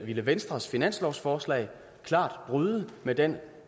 ville venstres finanslovsforslag klart bryde med den